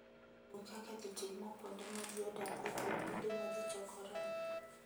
Luw kaka ji timo kuonde ma ji odakie kod kuonde ma ji chokoree.